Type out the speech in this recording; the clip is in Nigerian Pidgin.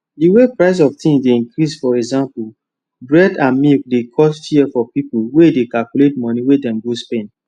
the way price of things dey increasefor example bread and milke dey cause fear for people wey dey calculate money wey dem go spend